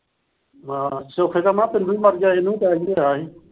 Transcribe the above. ਹਾਂ, ਸੋਖੇ ਦਾ ਮਰ ਗਿਆ ਸੀ, ਇਹ ਨੂੰ ਵੀ attack ਆਇਆ ਸੀ।